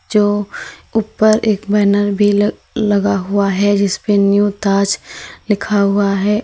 जो ऊपर एक बैनर भी ल लगा हुआ है जिस पे न्यू ताज लिखा हुआ है।